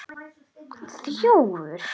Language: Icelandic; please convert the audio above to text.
Breki: Þjófur?